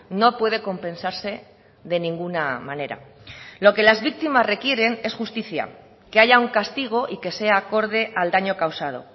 no puede compensarse de ninguna manera lo que las víctimas requieren es justicia que haya un castigo y que sea acorde al daño causado